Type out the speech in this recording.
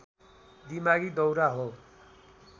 दिमागी दौरा हो